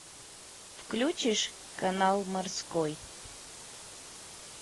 включишь канал морской